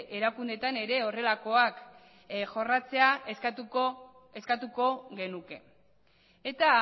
erakundeetan ere horrelakoak jorratzea eskatuko genuke eta